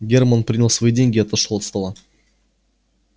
германн принял свои деньги и отошёл от стола